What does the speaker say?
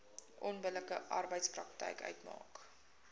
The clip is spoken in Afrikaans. onbillike arbeidspraktyk uitmaak